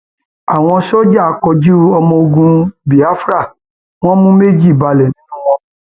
àwọn sójà kojú ọmọ ogun biafra wọn mú méjì balẹ nínú wọn